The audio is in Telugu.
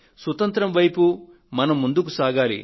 సుతంత్రం వైపు మనం ముందుకు సాగాలి